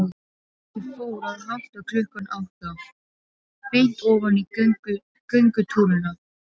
Ég fór að hátta klukkan átta, beint ofan í göngutúrana.